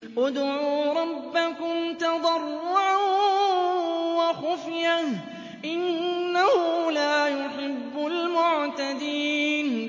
ادْعُوا رَبَّكُمْ تَضَرُّعًا وَخُفْيَةً ۚ إِنَّهُ لَا يُحِبُّ الْمُعْتَدِينَ